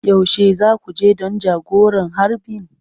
Yaushe za ku je don jagoran harbin?